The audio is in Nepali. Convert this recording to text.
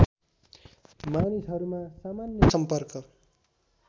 मानिसहरूमा सामान्य सम्पर्क